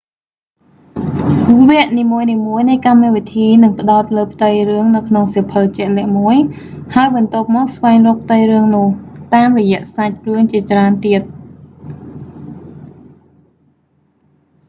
វគ្គនីមួយៗនៃកម្មវិធីនឹងផ្តោតលើផ្ទៃរឿងនៅក្នុងសៀវភៅជាក់លាក់មួយ ហើយបន្ទាប់មកស្វែងរកផ្ទៃរឿងនោះ តាមរយៈសាច់រឿងជាច្រើនទៀត